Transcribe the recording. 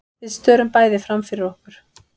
Við störum bæði framfyrir okkur.